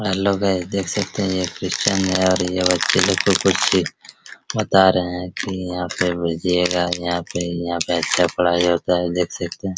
Hello guys देख सकते हैं ये क्रिस्चियन है और ये बच्चा लोग को कुछ शिख बता रहे है की यहाँ पे भेजिएगा यहाँ पे यहा ऐसे पढ़ाई होते है देख सकते हैं ।